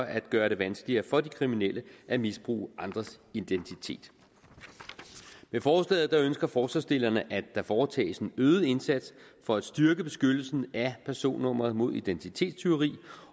at gøre det vanskeligere for de kriminelle at misbruge andres identitet med forslaget ønsker forslagsstillerne at der foretages en øget indsats for at styrke beskyttelsen af personnummeret mod identitetstyveri